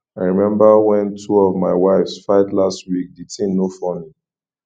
i remember wen two of my wives fight last week the thing no funny